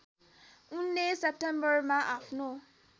उनले सेप्टेम्बरमा आफ्नो